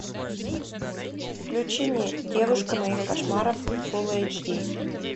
включи мне девушка моих кошмаров фул эйч ди